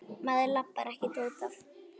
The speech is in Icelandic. Maður labbar ekkert út af.